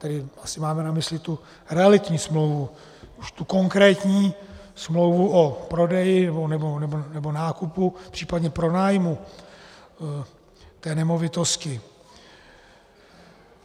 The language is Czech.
Tedy asi máme na mysli tu realitní smlouvu, už tu konkrétní smlouvu o prodeji nebo nákupu, případně pronájmu té nemovitosti.